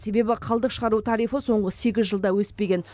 себебі қалдық шығару тарифі соңғы сегіз жылда өспеген